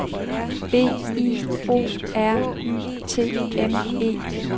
B I O R Y T M E